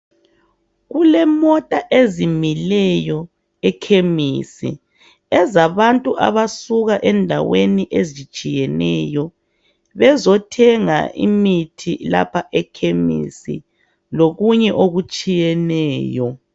Kulemota ezimileyo ekhemisi ezabantu abasuka endaweni ezitshiyeneyo bezothenga imithi lapha ekhemisi lokunye okutshiyeneyo